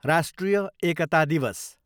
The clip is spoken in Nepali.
राष्ट्रिय एकता दिवस